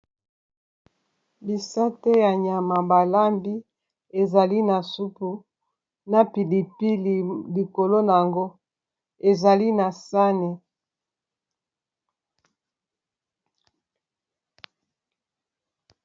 Bisate ya nyama balambi ezali na supu na pilipi likolo nango ezali na sani.